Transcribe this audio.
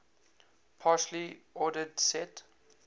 partially ordered set